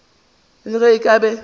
le ge a ka be